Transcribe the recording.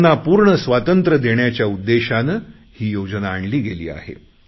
त्यांना पूर्ण स्वातंत्र्य देण्याच्या उद्देशाने ही योजना आणली गेली आहे